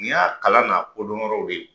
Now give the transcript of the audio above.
N y'a kala na kodɔnyɔrɔw de ye